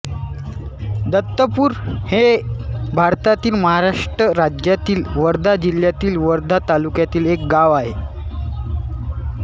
दत्तपूर हे भारतातील महाराष्ट्र राज्यातील वर्धा जिल्ह्यातील वर्धा तालुक्यातील एक गाव आहे